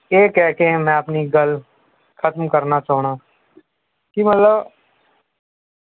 ਇਹ ਕਹਿ ਕੇ ਮੈਂ ਆਪਣੀ ਗਲ ਖਤਮ ਕਰਨਾ ਚਾਹੁੰਨਾ ਕੀ ਮਤਲਬ